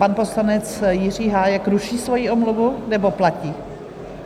Pan poslanec Jiří Hájek ruší svoji omluvu, nebo platí?